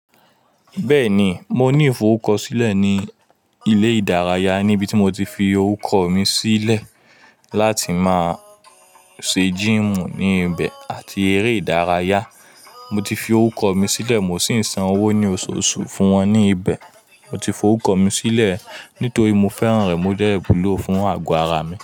Bẹ́ẹ̀ni, mo ní ìforúkọ sílẹ̀ ní ilé ìdárayá níbi tí mo ti fi orúkọ mi sílẹ̀ láti máa ṣe jímù ní ibẹ̀ àti eré ìdárayá. Mo ti fi orúkọ mi sílẹ̀ mo sì ń san owó ní oṣooṣù fún wọn ní ibẹ̀. Mo ti forúkọ mi sílẹ̀ nítorí mo fẹ́ràn rẹ̀, o dẹ̀ wúlò fún àgọ́ ara mi.